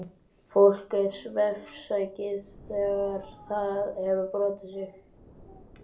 Fólk er svefnsækið þegar það hefur brotið sig.